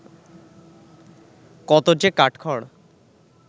কত যে কাঠখড়